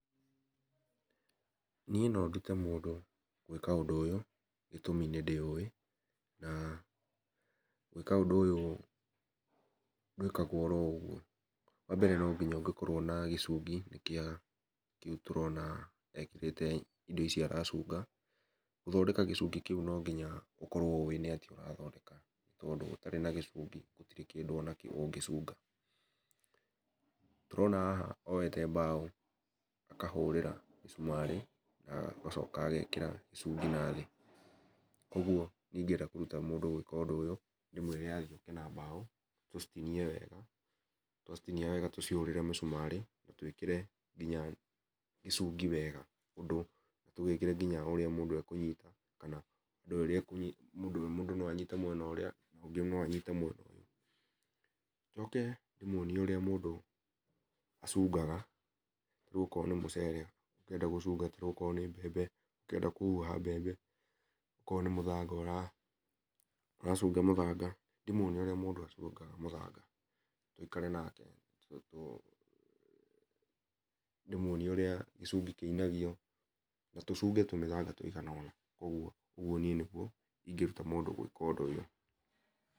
Niĩ no ndũte mũndũ gwĩka ũndũ ũyũ gĩtũmi nĩ ndĩũ wi gwĩka ũndũ ũyũ ndwikagwo o ũgũo wambere no nginya ũkorwo na gĩcingi kĩa kĩũ tũrona ekĩrĩte indo ici aracũnga gũthoneka gĩcũngi kĩũ no nginyagia ũkorwo ũĩ nĩ atĩa ũrathondeka tondũ ũtarĩ na gĩcũngi gũtĩrĩ kĩndũ ona kĩ ũngĩcũnga . Tũrona haha oete mbao akahũrĩra mĩcũmari agacoka agekĩra gĩcũngi na thĩ, kũogũo niĩ ĩngĩenda kũrũta mũndũ ũndũ ũyũ no ndĩmwĩre athiĩ oke na mbao tũcitinie wega twacitinia wega tũcoke twĩkĩre mĩcũmarĩ na twĩkĩre nginya gĩcũngi wega ũndũ tũgĩkĩre nginya ũndũ ũrĩa mũndũ no anyite mwena ũrĩa ũngĩ no anyite mwena ũyũ njoke ndĩmwũonie ũrĩa mũndũ acũngaga rĩũ o korwo nĩ mũcere ũrenda gũcũnga o korwo ũrenda gũcũnga mbembe ũkĩenda kũhũha mbembe o korwo nĩ mũthanga ũracũnga mũthanga ndĩ mwũonĩe ũrĩa mũndũ acũngaga mũthanga tũĩkare nake ndĩmũonĩe ũrĩa gĩcũngĩ kĩinagio na tũcũnge tũmĩthanga tũigana ona ũgũo nĩ gũo niĩ ĩngĩrũta mũndũ gwĩka ũndũ ũyũ.